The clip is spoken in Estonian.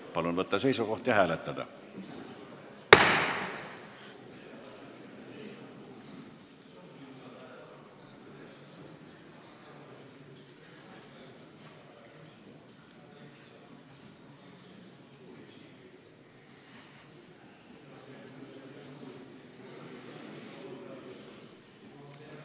Palun võtta seisukoht ja hääletada!